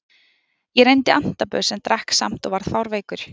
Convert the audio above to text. Ég reyndi antabus en drakk samt og varð fárveikur.